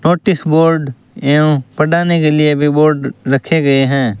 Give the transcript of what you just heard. Notice board एवं पढ़ाने के लिए भी बोर्ड रखे गए हैं।